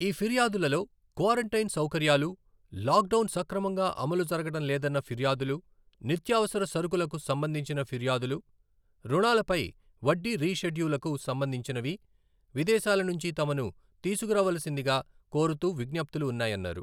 ఈ ఫిర్యాదులలో క్వారంటైన్ సౌకర్యాలు, లాక్డౌన్ సక్రమంగా అమలు జరగడం లేదన్న ఫిర్యాదులు, నిత్యావసర సరకులుకు సంబంధించిన ఫిర్యాదులు, రుణాలపై వడ్డీ రీ షెడ్యూలుకు సంబంధించినవి, విదేశాలనుంచి తమను తీసుకురావలసిందిగా కోరుతూ విజ్ఞప్తులు ఉన్నాయన్నారు.